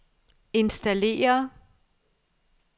installere